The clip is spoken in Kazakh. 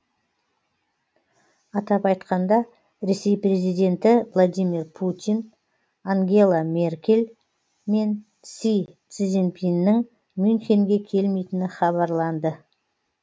атап айтқанда ресей президенті владимир путин ангела меркель мен си цзиньпиннің мюнхенге келмейтіні хабарланды